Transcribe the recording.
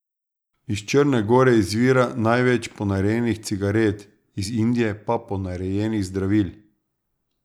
Iz Črne gore izvira največ ponarejenih cigaret, iz Indije pa ponarejenih zdravil.